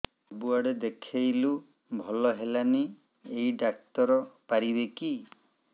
ସବୁଆଡେ ଦେଖେଇଲୁ ଭଲ ହେଲାନି ଏଇ ଡ଼ାକ୍ତର ପାରିବେ କି